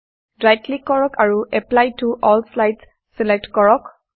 right click কৰক আৰু apply to all slides select কৰক